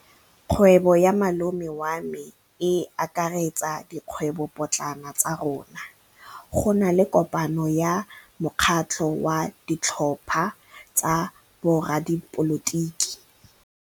Kgwêbô ya malome wa me e akaretsa dikgwêbôpotlana tsa rona. Go na le kopanô ya mokgatlhô wa ditlhopha tsa boradipolotiki.